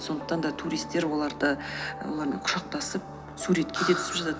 сондықтан да туристер олармен құшақтасып суретке де түсіп жатады